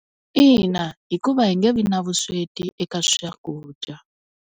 Ina, hikuva hi nge vi na vusweti eka swakudya.